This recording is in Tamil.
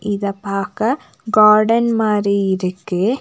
இத பாக்க கார்டன் மாரி இருக்கு.